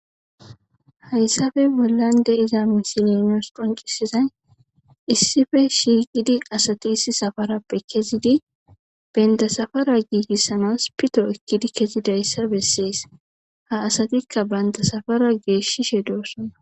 Hayisape bollani deyiza misileyi nusi qoncisizayi issipe shiqizi assati issi saparapesaparape kezizi benuta safara gigisanasi pitto ekidi kezidaysa besesi ha asatika banita safara geshishe dosona